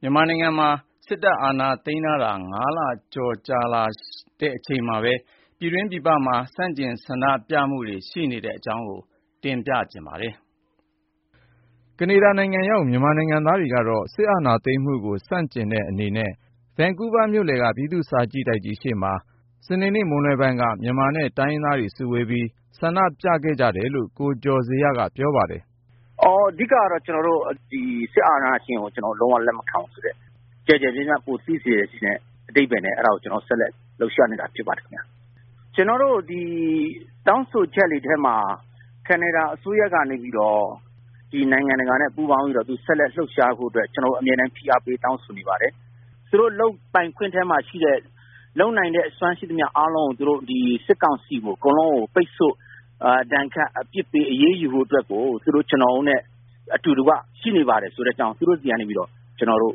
မြန်မာနိုင်ငံမှာ စစ်အာဏာသိမ်းထားတာ ၅ လကျော်ကြာ ရှိလာချိန်မှာပဲ ပြည်တွင်းပြည်ပမှာ ဆန့်ကျင် ဆန္ဒပြမှုတွေ ဆက်ရှိနေပါတယ်။ အပြည့်အစုံကို ကိုဉာဏ်ဝင်းအောင် စုစည်းတင်ပြထားပါတယ်။ ကနေဒါနိုင်ငံရောက် မြန်မာနိုင်ငံသားတွေကတော့ စစ်အာဏာသိမ်းမှုကို ဆန့်ကျင်တဲ့အနေနဲ့ ဗန်ကူးဗားမြို့လယ်က ပြည်သူ့စာကြည့်တိုက်ကြီးရှေ့မှာ ဇူလိုင် ၁၀ ရက် စနေနေ့ မွန်းလွဲပိုင်းက မြန်မာနဲ့ တိုင်းရင်းသားတွေ စုဝေးပြီး ဆန္ဒပြခဲ့ကြတယ်လို့ ကိုကျော်ဇေယျက ပြောပါတယ်။ “အဓိကတော့ ကျနော်တို့ စစ်အာဏာရှင်ကို လုံးဝလက်မခံဘူးဆိုတဲ့ ကျယ်ကျယ်ပြန့်ပြန့် ပိုသိစေချင်တဲ့ အဓိပ္ပာယ်နဲ့ အဲဒါကို ဆက်လက်လှုပ်ရှားနေတာ ဖြစ်ပါတယ်။ ကျနော်တို့ တောင်းဆိုချက်တွေထဲမှာ ကနေဒါအစိုးရကနေပြီးတော့ နိုင်ငံတကာနဲ့ ပူးပေါင်းပြီး ဆက်လက်လှုပ်ရှားဖို့အတွက် အမြဲတမ်း ဖိအားပေး တောင်းဆိုနေပါတယ်။ သူတို့လုပ်ပိင်ခွင့်ထဲမှာရှိတဲ့ လုပ်နိုင်တဲ့အစွမ်းရှိသမျှ အားလုံး သူတို့ စစ်ကောင်စီကို အကုန်လုံးပိတ်ဆို့ ဒဏ်ခတ် အပြစ်ပေး အရေးယူဖို့အတွက်ကို သူတို့ ကျနော်တို့နဲ့ အတူတကွ ရှိနေပါတယ်ဆိုတဲ့အကြောင်းကို သူတို့ဆီကနေပြီးတော့ ကျနော်တို့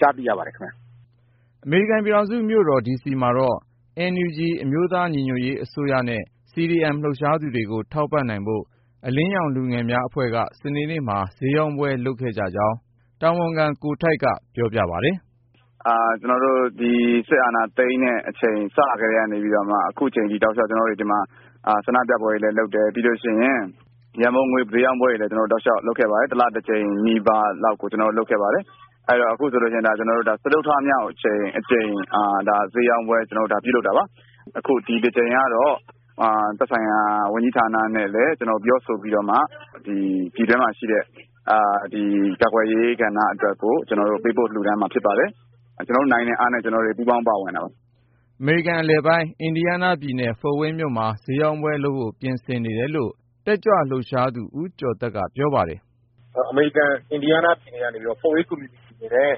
ကြားသိရပါတယ်။” အမေရိကန်ပြည်ထောင်စု မြို့တော်ဒီစီမှာတော့ NUG အမျိုးသားညီညွတ်ရေး အစိုးရနဲ့ CDM လှုပ်ရှားသူတွေကို ထောက်ပံ့နိုင်ဖို့ အလင်းရောင်လူငယ်များအဖွဲ့က စနေနေ့မှာ ဈေးရောင်းပွဲ လုပ်ကြကြောင်း တာဝန်ခံ ကိုထိုက်က ပြောပါတယ်။ “ကျနော်တို့ ဒီ စစ်အာဏာသိမ်းတဲ့အချိန် စလာခဲ့ကတည်းက အခုချိန်အထိ ကျနော်တို့တွေ ဒီမှာ ဆန္ဒပြပွဲတွေလည်းလုပ်တယ်။ ပြီးတော့ ရန်ပုံငွေ ဈေးရောင်းပွဲတွေလည်း တောက်လျှောက် လုပ်ခဲ့ပါတယ်။ တလတကြိမ်နီးပါးလောက်ကို လုပ်ခဲ့ပါတယ်။ အခုဆိုရင် စတုတ္ထအကြိမ်မြောက် ဈေးရောင်းပွဲ ပြုလုပ်တာပါ။ အခု ဒီတကြိမ်ကတော့ သက်ဆိုင်ရာ ဝန်ကြီးဌာနနဲ့လည်း ပြောဆိုပြီးတော့မှ ပြည်တွင်းမှာရှိတဲ့ ကာကွယ်ရေးကဏ္ဍအတွက် ပေးပို့လှူဒါန်းမှာ ဖြစ်ပါတယ်။ ကျနော်တို့နိုင်တဲ့အားနဲ့ ကျေနာ်တို့ ပူးပေါင်းပါဝင်တာပါ။” အမေရိကန်အလယ်ပိုင်း အင်ဒီယားနားပြည်နယ် ဖို့ဝိန်းမြို့မှာ ဈေးရောင်းပွဲလုပ်ဖို့ ပြင်ဆင်နေတယ်လို့ တက်ကြွလှုပ်ရှားသူ ဦးကျော်သက်က ပြောပါတယ်။ “အမေရိကန် အင်ဒီယားနားပြည်နယ်ကနေပြီးတော့ ဖို့ဝိန်းကွန်မြူနတီအနေနဲ့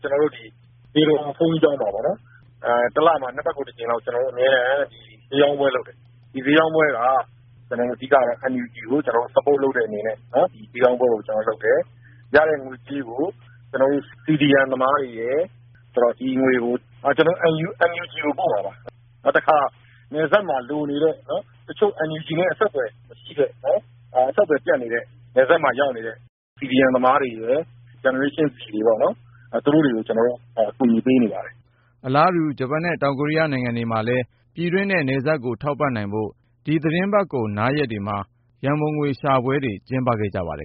ကျနော်တို့ ဇေတဝန်ဘုန်းကြီးကျောင်းမှာ တလမှာ နှစ်ပတ်ကို တကြိမ်လောက် အမြဲတမ်း ဈေးရောင်းပွဲလုပ်တယ်။ ဒီဈေးရောင်းပွဲက အဓိကတော့ NUG ကို Support လုပ်တဲ့အနေနဲ့ ဒီဈေးရောင်းပွဲ လုပ်တယ်။ ရတဲ့ငွေကြေးကို CDM သမားတွေရယ် NUG ကို ပို့မှာပါ။ နောက်တခါ နယ်စပ်မှာလိုနေတဲ့ တချို့ NUG နဲ့ အဆက်အသွယ်မရှိတဲ့ အဆက်အသွယ် ပြတ်နေတဲ့ နယ်စပ်မှာရောက်နေတဲ့ CDM သမားတွေရယ်၊ Gen Z တွေရယ် သူတို့တွေကို ကျနော်တို့ အကူအညီ ပေးနေပါတယ်။” အလားတူ ဂျပန်နဲ့ တောင်ကိုရီးယားနိုင်ငံတွေမှာလည်း ဒီသီတင်းပတ်ကုန် နားရက်တွေမှာ ပြည်တွင်းနဲ့ နယ်စပ်ကို ထောက်ပံ့နိုင်ဖို့ ရန်ပုံငွေရှာပွဲတွေ ကျင်းပခဲ့ကြပါတယ်